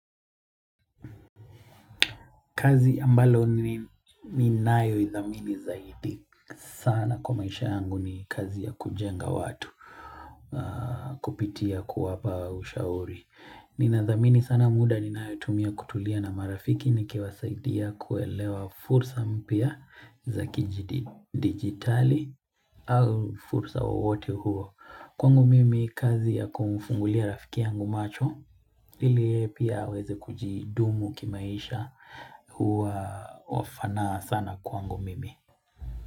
Kazi ambalo ninayo idhamini zaidi sana kwa maisha yangu ni kazi ya kujenga watu kupitia kuwapa ushauri. Ninadhamini sana muda ninayotumia kutulia na marafiki nikiwasaidia kuelewa fursa mpya za kidigitali au fursa wowote huo. Kwangu mimi kazi ya kumfungulia rafiki yangu macho ili yeye pia aweze kujidumu kimaisha Huwa wafanaa sana kwangu mimi.